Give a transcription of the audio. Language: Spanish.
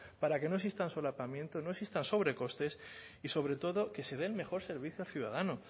para que no existan solapamientos no existan sobrecostes y sobre todo que se dé mejor servicio al ciudadano